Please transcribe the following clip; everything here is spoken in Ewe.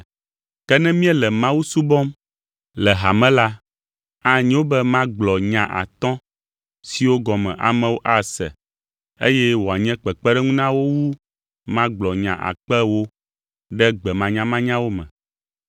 Ke ne míele Mawu subɔm le hame la, anyo be magblɔ nya atɔ̃ siwo gɔme amewo ase, eye wòanye kpekpeɖeŋu na wo wu magblɔ nya akpe ewo “ɖe gbe manyamanyawo me.”